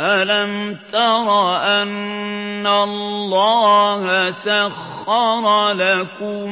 أَلَمْ تَرَ أَنَّ اللَّهَ سَخَّرَ لَكُم